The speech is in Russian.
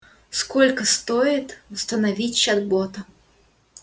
сколько стоит восстановить чат бота